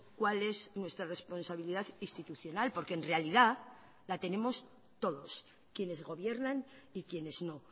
cuál es nuestra responsabilidad institucional porque en realidad la tenemos todos quienes gobiernan y quienes no